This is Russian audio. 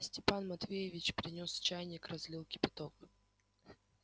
степан матвеевич принёс чайник разлил кипяток